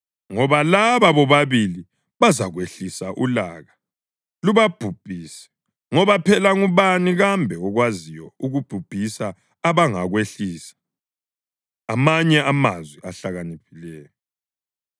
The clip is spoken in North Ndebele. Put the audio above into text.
ngoba laba bobabili bazakwehlisa ulaka lubabhubhise, ngoba phela ngubani kambe okwaziyo ukubhubhisa abangakwehlisa? Amanye Amazwi Ahlakaniphileyo